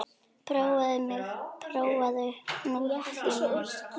Prófaðu mig, prófaðu hnútana mína.